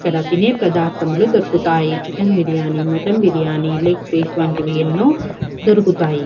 ఇక్కడ తినే ప్రధార్ధములు దొరుకుతాయి chicken biryani mutton biryani leg piece వంటివి ఎన్నో దొరుకుతాయి.